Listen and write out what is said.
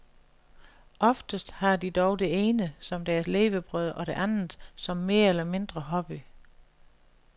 Oftest har de dog det ene som deres levebrød og det andet som mere eller mindre hobby.